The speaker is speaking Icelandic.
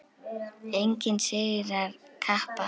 Enginn sigrar kappa þann.